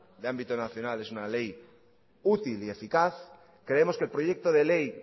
de ámbito nacional es una ley útil y eficaz creemos que el proyecto de ley